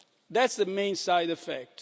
That's the main side effect.